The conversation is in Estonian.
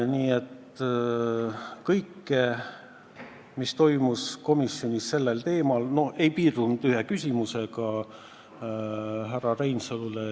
Nii et kõik, mis toimus komisjonis seda teemat käsitledes, ei piirdunud ühe küsimusega härra Reinsalule.